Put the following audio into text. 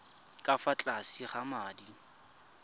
ka fa tlase ga madi